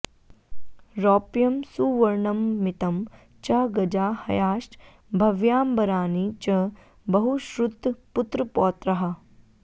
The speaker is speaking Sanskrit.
रौप्यं सुवर्णममितं च गजा हयाश्च भव्याम्बराणि च बहुश्रुतपुत्रपौत्राः